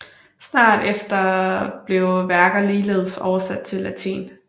Snart efter blev værker ligeledes oversat til latin